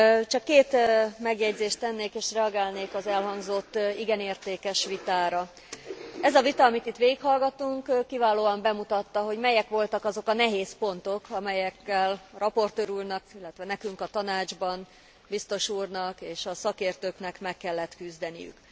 Csak két megjegyzést tennék, és reagálnék az elhangzott igen értékes vitára. Ez a vita, amit itt végighallgattunk, kiválóan bemutatta, hogy melyek voltak azok a nehéz pontok, amelyekkel raportőr úrnak, illetve nekünk a Tanácsban, biztos úrnak és a szakértőknek meg kellett küzdeniük.